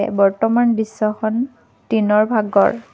এ বৰ্তমান দৃশ্যখন দিনৰ ভাগৰ।